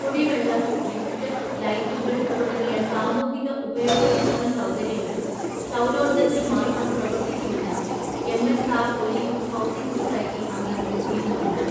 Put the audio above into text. കുടിവെള്ളം, ലിഫ്റ്റ്, ലൈറ്റുകൾ തുടങ്ങിയ സാമൂഹിക ഉപയോഗത്തിനുള്ള സൗകര്യങ്ങൾ സൗരോർജ്ജത്തിൽ മാത്രം പ്രവർത്തിക്കുമെന്ന് എം.എസ്.ആർ ഒലിവ് ഹൗസിംഗ് സൊസൈറ്റി അംഗങ്ങൾ തീരുമാനിച്ചു.